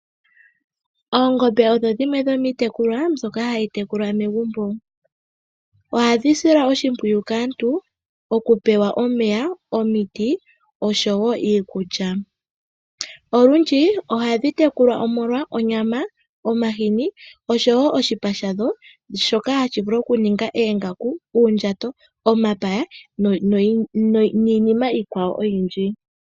Oongombe odho dhimwe dhomiitekulwa mbyoka hayi tekulwa megumbo. Ohadhi silwa oshimpwiyu kaantu okupewa omeya, omiti oshowo iikulya. Olundji ohadhi tekulwa omolwa onyama, omahini oshowo oshipa shadho shoka hashi vulu okuninga oongaku, uundjato, omapaya niinima iikwawo oyindji.